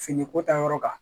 Fini ko ta yɔrɔ kan